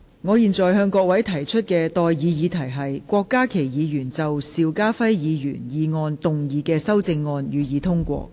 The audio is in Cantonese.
我現在向各位提出的待議議題是：郭家麒議員就邵家輝議員議案動議的修正案，予以通過。